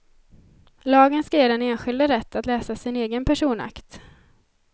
Lagen ska ge den enskilde rätt att läsa sin egen personakt.